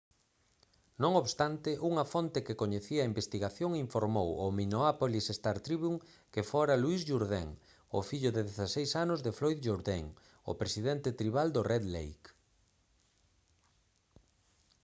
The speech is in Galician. non obstante unha fonte que coñecía a investigación informou ao minneapolis star-tribune que fora louis jourdain o fillo de 16 anos de floyd jourdain o presidente tribal do red lake